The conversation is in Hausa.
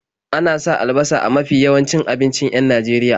Ana sa albasa a mafi yawancin abincin 'yan Najeria.